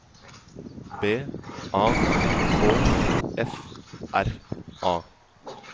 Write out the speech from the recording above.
B A K F R A